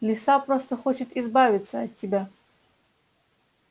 лиса просто хочет избавиться от тебя